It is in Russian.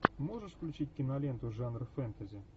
можешь включить киноленту жанр фэнтези